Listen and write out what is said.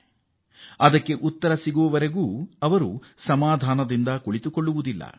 ಅವರು ಅದಕ್ಕೆ ಉತ್ತರ ಸಿಗುವ ತನಕ ಬಿಡುವು ಪಡೆಯುವುದೇ ಇಲ್ಲ